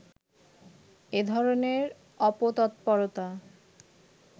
এধরনের অপতৎপরতা